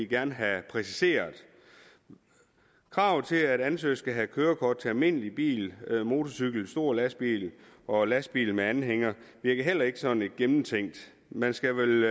gerne have præciseret kravet til at ansøgere skal have kørekort til almindelig bil motorcykel stor lastbil og lastbil med anhænger virker heller ikke sådan gennemtænkt man skal vel